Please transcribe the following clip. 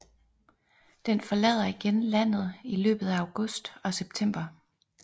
Den forlader igen landet i løbet af august og september